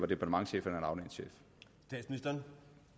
departementschef eller